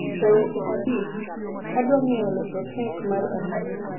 e weche abich adwa ngeyo losos kek mar arus